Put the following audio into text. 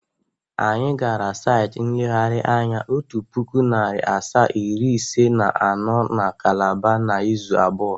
Anyị gara saịtị nlegharị anya otu pụkụ, narị asaa, iri ise na anọ na Kalaba n' ịzụ abụọ.